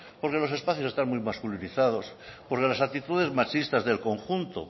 porque los espacios están muy masculinizados porque las actitudes machistas del conjunto